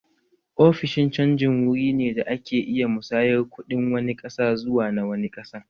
Ofishin canji wuri ne da ake iya musayar kuɗin wani ƙasa zuwa na wani ƙasan